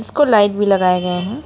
को लाइट भी लगाए गए हैं।